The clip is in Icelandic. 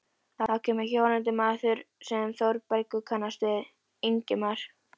Þá kemur hjólandi maður sem Þórbergur kannast við, Ingimar